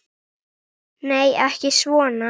Nei, ekki svona.